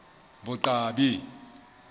boqwabi